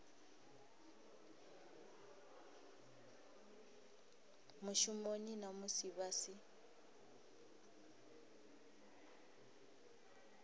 mushumoni na musi vha si